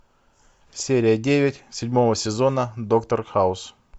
серия девять седьмого сезона доктор хаус